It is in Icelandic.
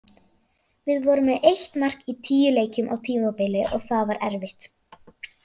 Við vorum með eitt mark í tíu leikjum á tímabili og það var erfitt.